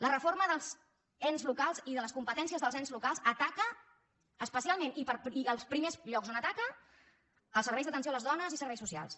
la reforma dels ens locals i de les competències dels ens locals ataca especialment i als primers llocs on ataca als serveis d’atenció a les dones i serveis socials